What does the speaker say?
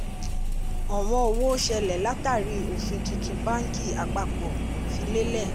ọ̀wọ́n owó ṣẹlẹ̀ látàrí ofin tuntun bánkì àpapọ̀ fi lelẹ̀.